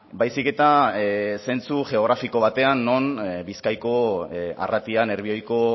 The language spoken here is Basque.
baizik eta zentzu geografiko batean non bizkaiko arratian nerbioiko